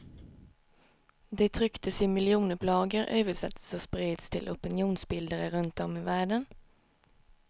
De trycktes i miljonupplagor, översattes och spreds till opinionsbildare runt om i världen.